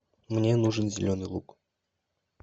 мне нужен зеленый лук